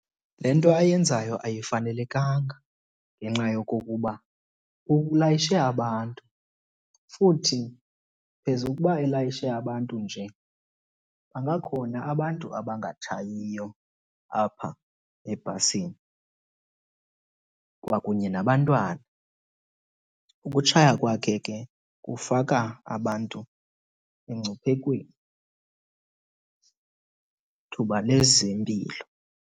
Le nto ayenzayo ayifanelekanga ngenxa yokokuba ulayishe abantu. Futhi phezu kokuba elayishe abantu nje bangakhona abantu abangatshayiyo apha ebhasini kwakunye nabantwana. Ukutshaya kwakhe ke kufaka abantu emngciphekweni thuba lezempilo.